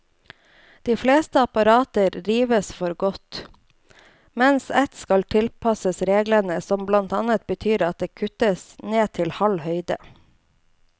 De fleste apparatene rives for godt, mens ett skal tilpasses reglene, som blant annet betyr at det kuttes ned til halv høyde.